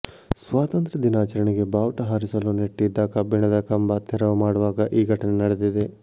ಸ್ವಾತಂತ್ರ ದಿನಾಚರಣೆಗೆ ಬಾವುಟ ಹಾರಿಸಲು ನೆಟ್ಟಿದ್ದ ಕಬ್ಬಿಣದ ಕಂಬ ತೆರವು ಮಾಡುವಾಗ ಈ ಘಟನೆ ನಡೆದಿದೆ